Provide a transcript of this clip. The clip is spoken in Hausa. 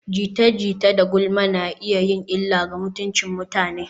Jita-jita da gulma na iya yin illa ga mutuncin mutane.